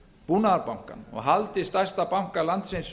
búnaðarbankann og haldið stærsta banka landsins